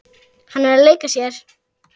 Hann er að leika sér.